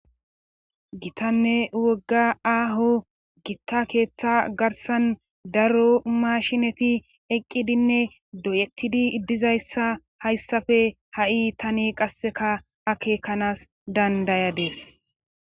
Gitanne wogga aaho gitta keeththa garsan daro mashineti eqqidinne doyettidi iddizayssa hayssafe ha'i tani qasseka akeekanaas dandayadees